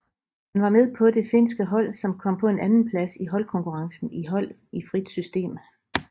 Han var med på det finske hold som kom på en andenplads i holdkonkurrencen for hold i frit system